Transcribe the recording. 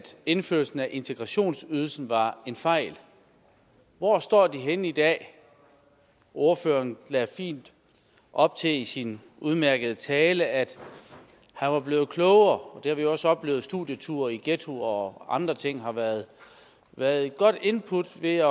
indførelsen af integrationsydelsen var en fejl hvor står de radikale henne i dag ordføreren lagde fint op til i sin udmærkede tale at han var blevet klogere og det har vi også oplevet studieture i ghettoer og andre ting har været været et godt input ved